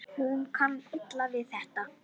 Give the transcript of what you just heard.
Hún kann illa við þetta.